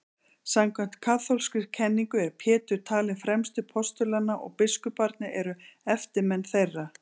samkvæmt kaþólskri kenningu er pétur talinn fremstur postulanna og biskuparnir eru eftirmenn þeirra